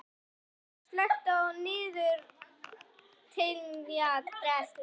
Asael, slökktu á niðurteljaranum.